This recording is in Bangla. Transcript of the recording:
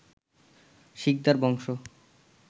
শিকদার বংশ